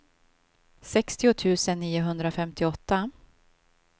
sextio tusen niohundrafemtioåtta